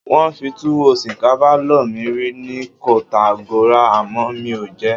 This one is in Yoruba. Wọ́n fi túwó-ṣìkànfà lọ mí rí ni Kotàngòra àmọ́ mi ò jẹ ẹ́.